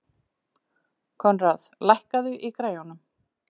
Koðrán, lækkaðu í græjunum.